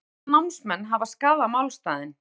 Segja breska námsmenn hafa skaðað málstaðinn